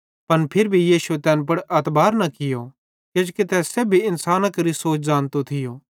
पन फिरी भी यीशुए तैन पुड़ अतबार न कियो किजोकि तै सेब्भी केरो इन्सानी सोच ज़ानतो थियो